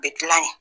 U bɛ dilan yen